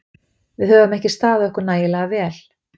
Við höfum ekki staðið okkur nægilega vel.